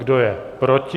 Kdo je proti?